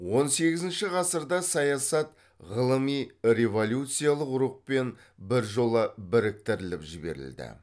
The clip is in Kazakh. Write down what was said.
он сегізінші ғасырда саясат ғылыми революциялық рухпен біржола біріктіріліп жіберілді